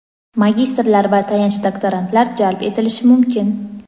magistrlar va tayanch doktorantlar jalb etilishi mumkin.